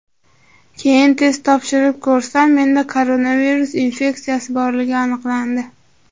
Keyin test topshirib ko‘rsam, menda koronavirus infeksiyasi borligi aniqlandi.